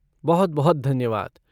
बहुत बहुत धन्यवाद।